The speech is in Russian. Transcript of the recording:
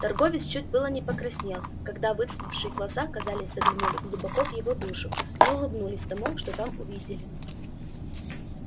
торговец чуть было не покраснел когда выцветшие глаза казались заглянули глубоко в его душу и улыбнулись тому что там увидели